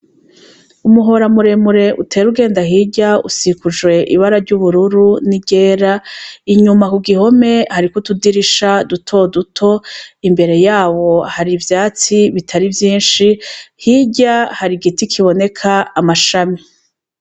Umuhoramuremure utera ugenda hirya usikujwe ibara ry'ubururu n'igera, inyuma ku gihome hariko utudirisha dutoduto, imbere yawo hari ivyatsi bitari vyinshi hirya hari igiti kiboneka amashami.